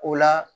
O la